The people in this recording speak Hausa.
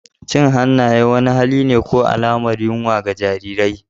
Cin hannaye wani hali ne ko alamar yunwa ga jarirai.